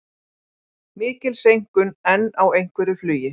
Mikil seinkun enn á einhverju flugi